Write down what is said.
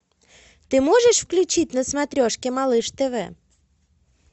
ты можешь включить на смотрешке малыш тв